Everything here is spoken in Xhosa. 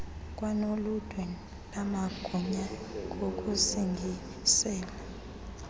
kwanoludwe lamagunya ngokusingisele